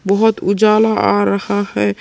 बहुत उजाला आ रहा है।